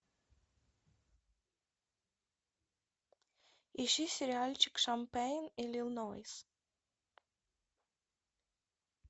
ищи сериальчик шампейн иллинойс